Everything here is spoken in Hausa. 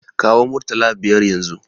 Kawo murtala biyar yanzun!